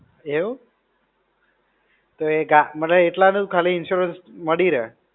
એવું? તો એ ગા, મતલબ એટલાનું ખાલી insurance મળી રહે.